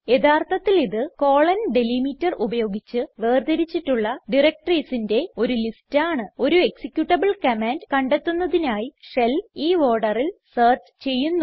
യഥാർത്ഥത്തിൽ ഇത്160 ഡെലിമീറ്റർ ഉപയോഗിച്ച് വേർതിരിച്ചിട്ടുള്ള directoriesന്റെ ഒരു ലിസ്റ്റ് ആണ് ഒരു എക്സിക്യൂട്ടബിൾ കമാൻഡ് കണ്ടെത്തുന്നതിനായി ഷെൽ ഈ orderൽ സെർച്ച് ചെയ്യുന്നു